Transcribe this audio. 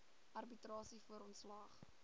arbitrasie voor ontslag